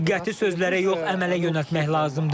Diqqəti sözlərə yox, əmələ yönəltmək lazımdır.